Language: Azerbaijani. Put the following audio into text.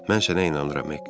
Mən sənə inanıram, Hek.